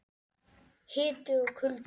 Hiti og kuldi.